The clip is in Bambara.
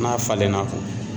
N'a falenna